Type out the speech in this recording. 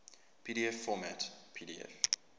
pdf format pdf